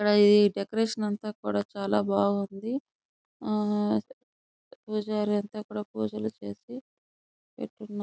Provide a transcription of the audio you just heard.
Decoration అంతా కూడా చాలా బాగుంది. పూజారి ఐతే ఇక్కడ పూజలు చేస్తూ ఉన్నారు.